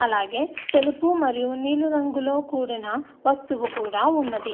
అలాగే తెలుపు మరియు నీలి రంగుతో కూడిన వస్తువు కూడా ఉన్నది.